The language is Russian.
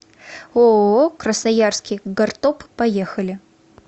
ооо красноярский гортоп поехали